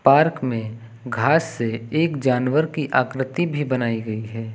Park में घास से एक जानवर की आकृति भी बनाई गई है।